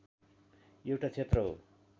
एउटा क्षेत्र हो